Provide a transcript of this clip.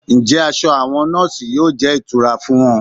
Ǹjẹ́ aṣọ àwọn nọọsi yóò jẹ́ ìtura fún wọn?